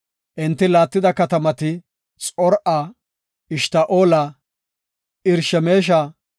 Enti laattida katamati Xor7a, Eshta7oola, Irshemesha,